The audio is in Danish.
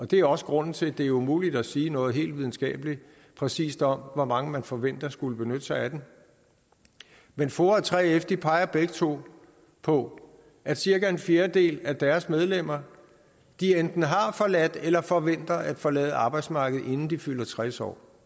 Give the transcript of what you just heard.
det er også grunden til at det er umuligt at sige noget helt videnskabeligt præcist om hvor mange man forventer skulle benytte sig af den men foa og 3f peger begge to på at cirka en fjerdedel af deres medlemmer enten har forladt eller forventer at forlade arbejdsmarkedet inden de fylder tres år